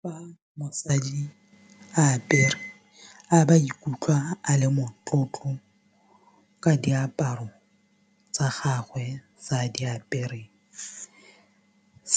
Fa mosadi a apere a ba ikutlwa a le motlotlo ka diaparo tsa gagwe fa a di apere